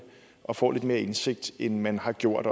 og får lidt mere indsigt end man har gjort